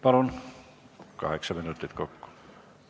Palun, kaheksa minutit kokku!